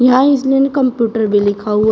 यहां इस्लेन कंप्यूटर भी लिखा हुआ--